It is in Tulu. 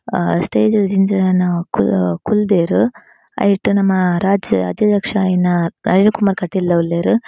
ಆ ಸ್ಟೇಜ್ ಡ್ ಜಿಂಜ ಜನ ಕು ಕುಲ್ದೆರ್ ಐಟ್ ನಮ್ಮ ರಾಜ್ಯ ಅದಿಧ್ಯಕ್ಷೆರಾಯಿನ ನಳಿನ್ ಕುಮಾರ್ ಕಟೀಲ್ ಲ ಉಲ್ಲೆರ್.